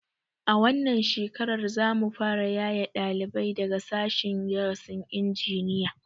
A wannan shekarar za mu fara yaye ɗalibai daga sashen darasin injiniya